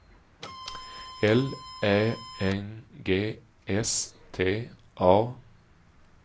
L Ä N G S T A